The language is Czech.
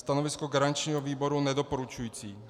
Stanovisko garančního výboru nedoporučující.